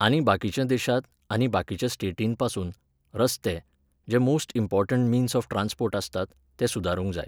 आनी बाकीच्या देशांत, आनी बाकीच्या स्टेटींन पासून, रस्ते, जे most important means of transport आसात, ते सुदारूंक जाय.